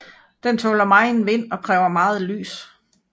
Den tåler megen vind og kræver meget lys